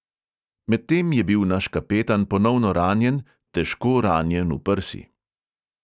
Medtem je bil naš kapetan ponovno ranjen, težko ranjen v prsi.